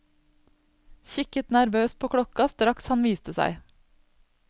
Kikket nervøst på klokka straks han viste seg.